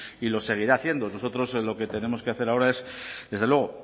y lo seguirá haciendo nosotros lo que tenemos que hacer ahora es desde luego